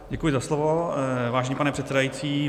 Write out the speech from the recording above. Děkuji za slovo, vážený pane předsedající.